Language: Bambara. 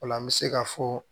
O la an bɛ se ka fɔ